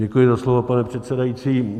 Děkuji za slovo, pane předsedající.